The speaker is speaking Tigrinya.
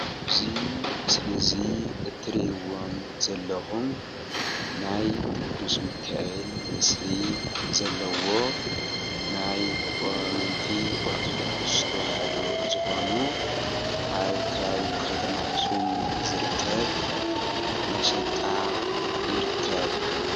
እዚ ምስሊ እዚ እትርኢዎ ም ዘለኩም ናይ ቅዱስ ሚካኤል ምስሊ ዘለዎ ናይ ኣመንቲ ኦርቶዶክስ ተዋህዶ ዝኮኑ ኣብ ከባቢ ከተማ ኣክሱም ዝርከብ መሸጣ ይርከብ።